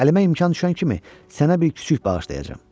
Əlimə imkan düşən kimi sənə bir kiçik bağışlayacağam.